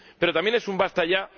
Pero también es un ¡basta ya!